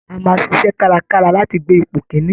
A máa ṣiṣẹ́ kárakára láti gbé ipò kìn-ín-ní